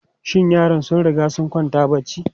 Shin yaran sun riga sun kwanta barci?